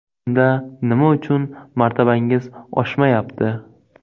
Unda nima uchun martabangiz oshmayapti?